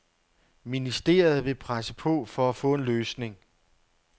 Ministeriet vil presse på for at få en løsning.